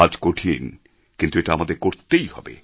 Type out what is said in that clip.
কাজ কঠিন কিন্তু এটা আমাদের করতেই হবে